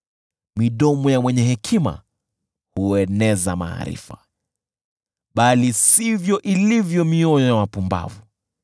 Midomo ya mwenye hekima hueneza maarifa, bali sivyo ilivyo mioyo ya wapumbavu.